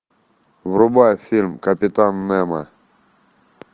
врубай фильм капитан немо